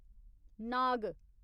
नाग